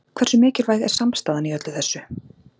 Hversu mikilvæg er samstaðan í öllu þessu?